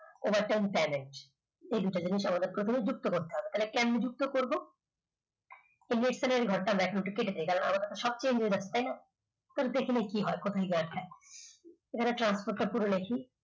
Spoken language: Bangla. overtime challenge এই দুটো জিনিস আমাদের প্রথমে যুক্ত করতে হবে তাহলে কেমনে যুক্ত করবো ঘরটা এখন কেটে দেই আমাদের সবচেয়ে important একটাই confusion কি হয় কোথায় গিয়ে আটকায় এখানে transport টা পুরো নিয়েছি